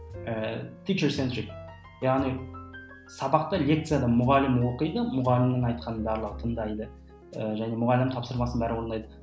ііі яғни сабақта лекцияда мұғалім оқиды мұғалімнің айтқанын барлығы тыңдайды ы және мұғалім тапсырмасын бәрі орындайды